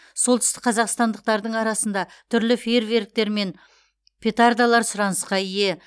солтүстік қазақстандықтардың арасында түрлі фейерверктер мен петардалар сұранысқа ие